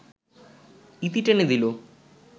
ইতি টেনে দিল